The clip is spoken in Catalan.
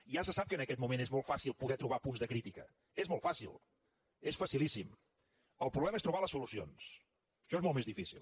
ja se sap que en aquest moment és molt fàcil poder trobar punts de crítica és molt fàcil és facilíssim el problema és trobar les solucions això és molt més difícil